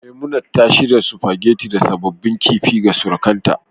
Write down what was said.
Memunant ta shirya spaghetti da sabbin kifi ga surukanta